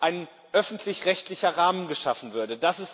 ein öffentlich rechtlicher Rahmen geschaffen würde.